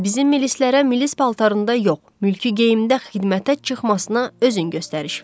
Bizim milislərə milis paltarında yox, mülki geyində xidmətə çıxmasına özün göstəriş ver.